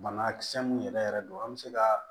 Banakisɛ mun yɛrɛ yɛrɛ don an mi se ka